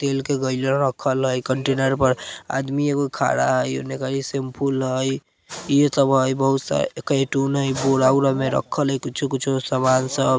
तेल के गइला रखल हई कंटेनर पर आदमी एगो खरा हई उने कई शेम्पूल हई इहे सब हई बहुत सारे कायतुन बोरा-वोरा में रखल्ल हई कुछो-कुछो समान सब --